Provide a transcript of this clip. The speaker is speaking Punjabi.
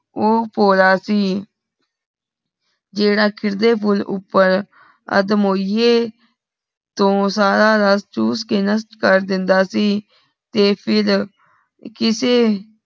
ਊ ਭੋਲਾ ਸੀ ਜੇੜ੍ਹਾ ਖਿਲਦੇ ਫੂਲ ਉਪਰ ਅੱਧਮੋਈਏ ਤੂ ਸਾਰਾ ਰਸ ਚੁਸ ਕੇ ਨਸ਼ਟ ਕਰ ਦੇਂਦਾ ਸੀ ਤੇ ਫਿਰ ਕੀਸੇ